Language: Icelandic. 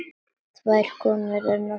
Tvær konur enn á ferð.